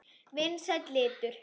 Vinsæll litur.